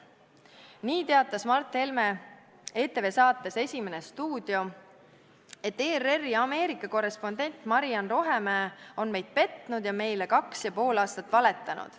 Nii teatas Mart Helme ETV saates "Esimene stuudio", et ERR-i Ameerika korrespondent Maria-Ann Rohemäe "on meid petnud ja meile kaks ja pool aastat valetanud".